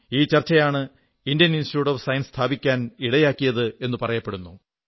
ഈ ചർച്ചയാണ് Indian institute of science സ്ഥാപിക്കാൻ ഇടയാക്കിയതെന്നു പറയപ്പെടുന്നു